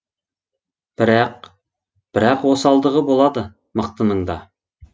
бірақ бірақ осалдығы болады мықтының да